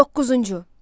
Doqquzuncu.